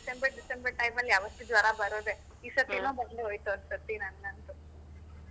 December time ಅಲ್ಲಿ ಯಾವತ್ತೂ ಜ್ವರ ಬರೋದೆ ಈ ಸರ್ತಿನು ಬಂದು ಹೋಯ್ತು ಒಂದು ಸರ್ತಿ ನಂಗಂತು.